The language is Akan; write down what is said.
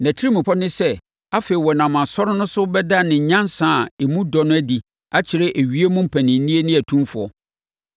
Nʼatirimpɔ ne sɛ afei ɔnam asɔre no so bɛda ne nyansa a emu dɔ no adi akyerɛ ewiem mpaninnie ne atumfoɔ,